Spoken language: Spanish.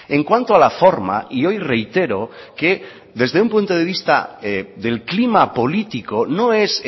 en cuanto a la forma y hoy reitero que desde un punto de vista del clima político no es